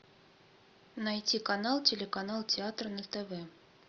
найти канал телеканал театр на тв